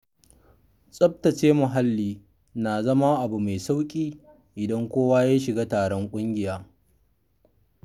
Tsabtace muhalli na zama abu mai sauƙi idan kowa ya shiga taron ƙungiya.